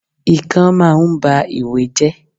Ikán máa ń ba ìwé jẹ́.